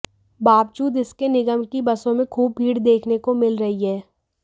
बावजूद इसके निगम की बसों में खूब भीड़ देखने को मिल रही है